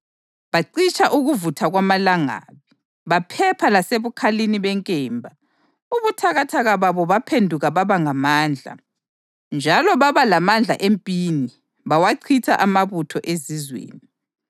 bacitsha ukuvutha kwamalangabi, baphepha lasebukhalini benkemba; ubuthakathaka babo baphenduka baba ngamandla; njalo baba lamandla empini bawachitha amabutho ezizweni.